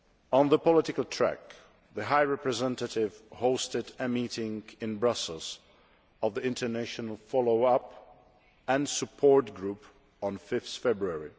On the political track, the High Representative hosted a meeting in Brussels of the International Follow up and Support Group on 5 February.